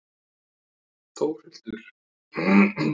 Þórhildur: Hversu mikið?